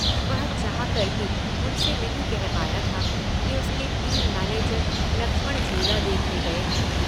वह चाह कर भी उनसे नहीं कह पाया था कि उसके टीम मैनेजर लक्ष्मण झूला देखने गए हैं।